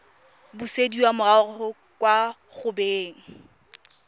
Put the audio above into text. busediwa morago kwa go beng